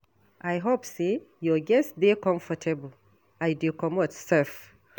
I hope say your guest dey comfortable. I dey comot sef